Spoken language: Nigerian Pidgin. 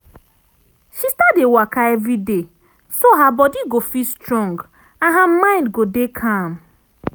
she start dey waka everi day so her body go fit strong and her mind go dey calm